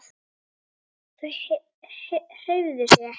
Þau hreyfðu sig ekki.